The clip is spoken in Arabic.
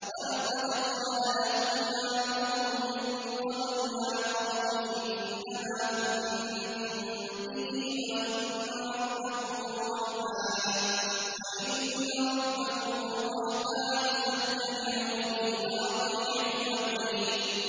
وَلَقَدْ قَالَ لَهُمْ هَارُونُ مِن قَبْلُ يَا قَوْمِ إِنَّمَا فُتِنتُم بِهِ ۖ وَإِنَّ رَبَّكُمُ الرَّحْمَٰنُ فَاتَّبِعُونِي وَأَطِيعُوا أَمْرِي